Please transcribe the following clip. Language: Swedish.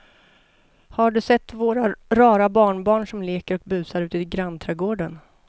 Har du sett våra rara barnbarn som leker och busar ute i grannträdgården!